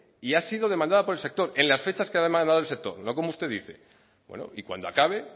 y ha sido demanda por el sector en las fechas que ha demandado el sector no como usted dice bueno y cuando acabe